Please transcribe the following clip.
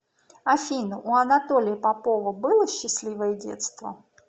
афина у анатолия попова было счастливое детство